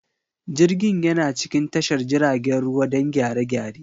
Jirgin yana cikin tashar jiragen ruwa don gyare-gyare.